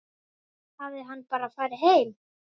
Hafði hann bara farið heim?